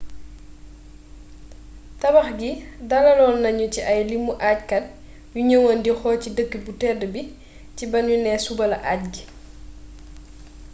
tabax gi dalaloon nanu ci ay limu ajkat yu ñëwoon di xool ci dëkk bu tedd bi ci banu nee suba la aj gi